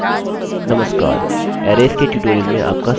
नमस्कार अरैज़सारणियोंके ट्यूटोरियल में आपका स्वागत है